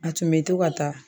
A tun bɛ to ka taa.